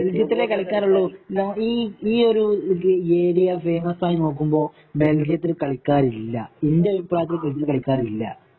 ബെൽജിയത്തിലെ കളിക്കാരുള്ളു ഈ ഈ ഒരു ഏരിയ ഫേമസ് ആയി നോക്കുമ്പോ ബെൽജിയത്തില് കളിക്കാരില്ല ഇന്റെ ഒരു അഭിപ്രായത്തില് ബെൽജിയത്തില് കളിക്കാരില്ല